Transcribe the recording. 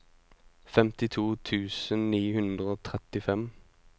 femtito tusen ni hundre og trettifem